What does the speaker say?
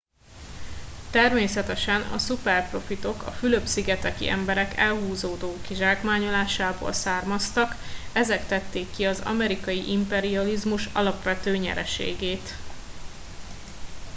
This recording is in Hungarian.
természetesen a szuperprofitok a fülöp szigeteki emberek elhúzódó kizsákmányolásából származtak ezek tették ki az amerikai imperializmus alapvető nyereségét